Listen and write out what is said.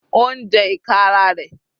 Ó ń jẹ ìka ara rẹ̀.